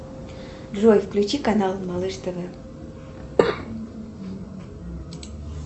джой включи канал малыш тв